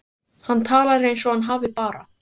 Hann talar eins og hann hafi bara.